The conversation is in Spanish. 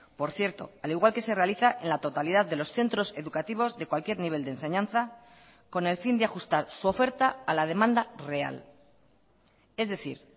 por cierto al igual que se realiza en la totalidad de los centros educativos de cualquier nivel de enseñanza con el fin de ajustar su oferta a la demanda real es decir